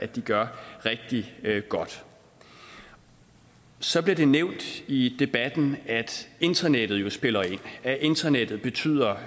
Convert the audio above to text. de gør rigtig godt så bliver det nævnt i debatten at internettet jo spiller ind at internettet betyder